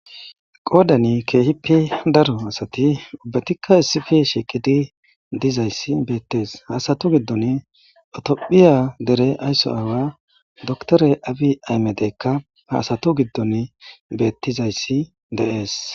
.qoda daro asati ubatika issi bolla dizaysa betes havastu gidon tophphiya dere ayso away doctere abiyi aymede ha asatu gidon betizaysi dee's